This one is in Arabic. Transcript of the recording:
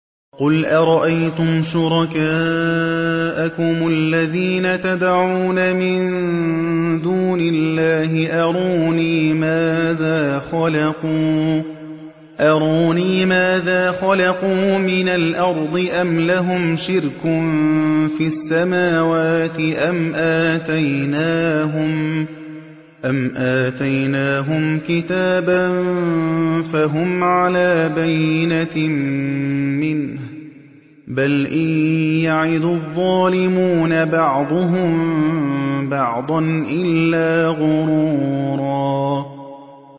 قُلْ أَرَأَيْتُمْ شُرَكَاءَكُمُ الَّذِينَ تَدْعُونَ مِن دُونِ اللَّهِ أَرُونِي مَاذَا خَلَقُوا مِنَ الْأَرْضِ أَمْ لَهُمْ شِرْكٌ فِي السَّمَاوَاتِ أَمْ آتَيْنَاهُمْ كِتَابًا فَهُمْ عَلَىٰ بَيِّنَتٍ مِّنْهُ ۚ بَلْ إِن يَعِدُ الظَّالِمُونَ بَعْضُهُم بَعْضًا إِلَّا غُرُورًا